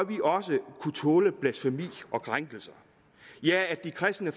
vi også kunne tåle blasfemi og krænkelser ja de kristne